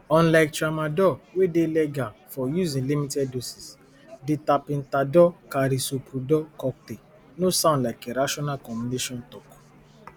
last year two thousand and twenty-four african countries bin export three hundred and ninety-five billion worth of goods to di us